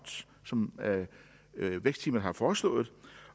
som vækstteamet har foreslået